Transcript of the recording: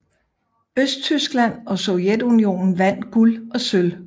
Østtyskland og Sovjetunionen vandt guld og sølv